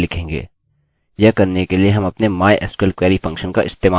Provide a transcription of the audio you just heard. यह करने के लिए हम अपने mysql query फंक्शन का इस्तेमाल करेंगे